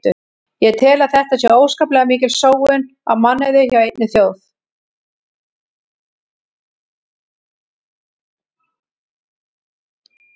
Ég tel að þetta sé óskaplega mikil sóun á mannauði hjá einni þjóð.